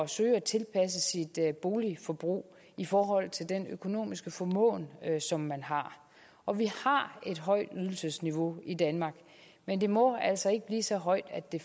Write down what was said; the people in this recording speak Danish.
søge at tilpasse sit boligforbrug i forhold til den økonomiske formåen som man har og vi har et højt ydelsesniveau i danmark men det må altså ikke blive så højt at det